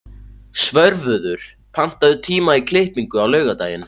Svörfuður, pantaðu tíma í klippingu á laugardaginn.